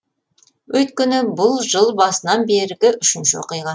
өйткені бұл жыл басынан бергі үшінші оқиға